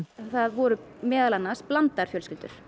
það voru meðal annars blandaðar fjölskyldur